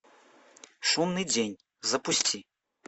шумный день запусти